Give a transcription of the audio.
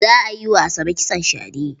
Za a yi wa Asabe kitson shade.